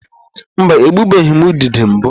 Mba, egbubeghị m ududo mbụ.